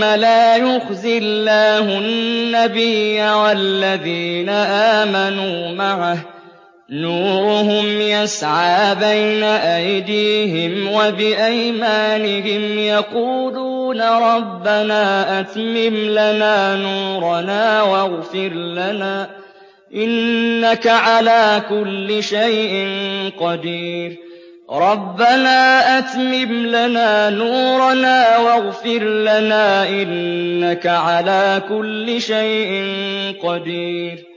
لَا يُخْزِي اللَّهُ النَّبِيَّ وَالَّذِينَ آمَنُوا مَعَهُ ۖ نُورُهُمْ يَسْعَىٰ بَيْنَ أَيْدِيهِمْ وَبِأَيْمَانِهِمْ يَقُولُونَ رَبَّنَا أَتْمِمْ لَنَا نُورَنَا وَاغْفِرْ لَنَا ۖ إِنَّكَ عَلَىٰ كُلِّ شَيْءٍ قَدِيرٌ